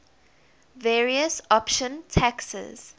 various option taxes